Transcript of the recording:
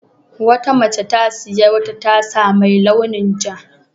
Wata mace ta sayi wata tasa mai launin ja.